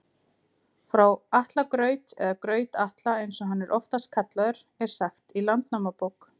Frá Atla graut, eða Graut-Atla eins og hann er oftast kallaður, er sagt í Landnámabók.